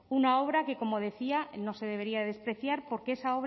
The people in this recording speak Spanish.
una obra que como decía no se debería despreciar porque esa